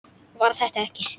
Var þetta ekki Stína?